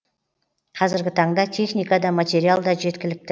қазіргі таңда техника да материал да жеткілікті